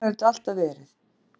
En svona hefur þetta alltaf verið.